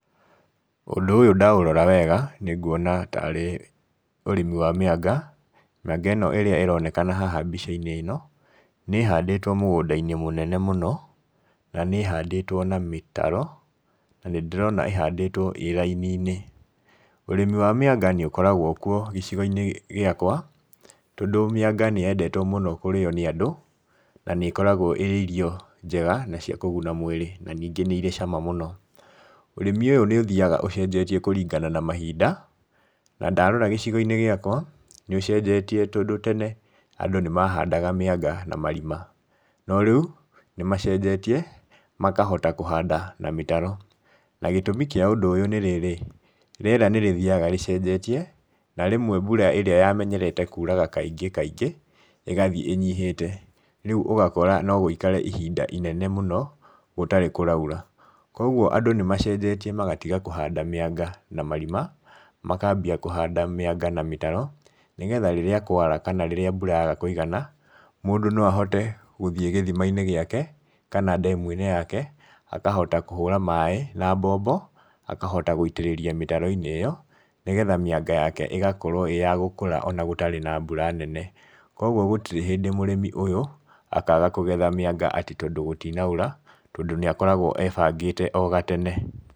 Ũndũ ũyũ ndaũrora wega, nĩ nguona tarĩ ũrĩmi wa mĩanga, mĩanga ĩno ĩrĩa ĩronekana haha mbica-inĩ ĩno, nĩ ĩhandĩtwo mũgũnda-inĩ mũnene mũno, na nĩ ĩhandĩtwo na mĩtaro, na nĩ ndĩrona ĩhandĩtwo ĩ raini-inĩ. Ũrĩmi wa mĩanga nĩ ũkoragwo kuo gĩcigo-inĩ gĩakwa, tondũ mĩanga nĩ yendetwo mũno kũrĩo nĩ andũ, na nĩ ĩkoragwo ĩrĩ irio njega na cia kũguna mwĩrĩ, na ningĩ nĩ irĩ cama mũno. Ũrĩmi ũyũ nĩ ũthiaga ũcenjetie kũringana na mahinda, na ndarora gĩcigo-inĩ gĩakwa nĩ ũcenjetie tondũ tene andũ nĩ mahandaga mĩanga na marima, no rĩu nĩmacenjetie, makahota kũhanda na mĩtaro, na gĩtũmi kĩa ũndũ ũyũ nĩ rĩrĩ, rĩera nĩ rĩthiaga rĩcenjetie, na rĩmwe mbura ĩrĩa yamenyerete kuraga kaingĩ kaingĩ igathiĩ ĩnyihĩte, rĩu ũgakora no gũikare ihinda inene mũno gũtarĩ kũraura. Koguo andũ nĩ macenjetie magatiga kũhanda mĩanga na marima, makambia kuhanda mĩanga na mĩtaro, nĩgetha rĩrĩa kwara kana rĩrĩa mbura yaga kũigana, mũndũ no ahote gũthiĩ gĩthima-inĩ gĩake, kana ndemu-inĩ yake, akahota kũhũra maĩ na mbombo akahota gũitĩrĩria mĩtaro-inĩ ĩyo, nĩgetha mĩanga yake ĩgakorwo ĩ ya gũkũra ona gũtarĩ na mbura nene. koguo gũtirĩ hĩndĩ mũrĩmi ũyũ, akaga kũgetha mĩanga atĩ tondũ gũtinaura, tondũ nĩ akoragwo ebangĩte o gatene.